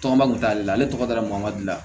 Tɔgɔma kun t'ale la ale tɔgɔ dara maa dilan